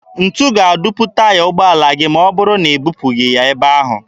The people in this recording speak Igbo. Ntu ga-adupu taya ụgbọala gị ma ọ bụrụ na i bupụghị ya ebe ahụ.